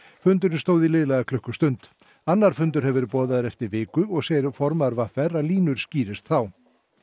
fundurinn stóð í liðlega klukkustund annar fundur hefur verið boðaður eftir viku og segir formaður v r að línur skýrist þá